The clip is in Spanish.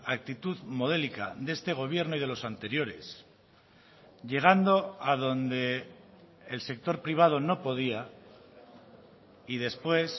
actitud modélica de este gobierno y de los anteriores llegando a donde el sector privado no podía y después